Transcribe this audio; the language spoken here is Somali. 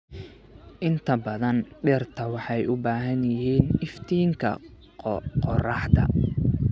Inta badan dhirta waxay u baahan yihiin iftiinka qorraxda.